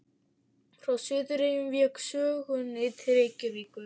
Frá Suðureyjum vék sögunni til Reykjavíkur.